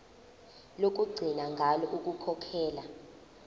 lokugcina ngalo ukukhokhela